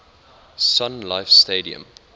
sun life stadium